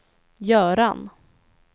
Göran